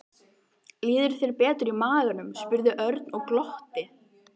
Líður þér betur í maganum? spurði Örn og glotti.